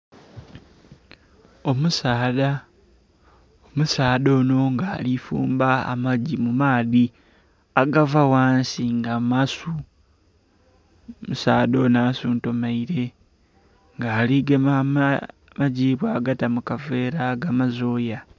Omusaadha, omusaadha ono nga alifumba amagi mumaadhi agava ghansi nga masu, omusaadha ono asuntumaire nga aligema amagi bwagata mukaveera agamaze oya.